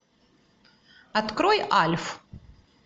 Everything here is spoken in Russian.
открой альф